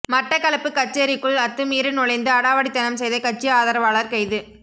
மட்டக்களப்பு கச்சேரிக்குள் அத்துமீறி நுழைந்து அடாவடித்தனம் செய்த கட்சி ஆதரவாளர் கைது